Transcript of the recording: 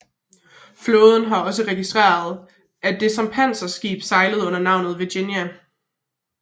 Flåden har også registreret at det som panserskib sejlede under navnet Virginia